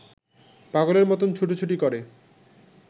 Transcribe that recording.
পাগলের মতন ছুটোছুটি করে